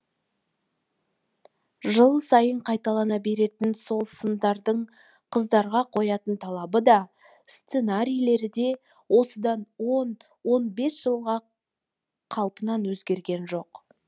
жыл сайын қайталана беретін сол сындардың қыздарға қоятын талабы да сценарийлері де осыдан он он бес жылғы қалпынан өзгерген жоқ